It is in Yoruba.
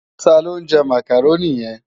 Tá ló njè Mákároni yèn?